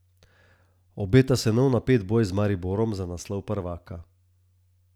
Obeta se nov napet boj z Mariborom za naslov prvaka.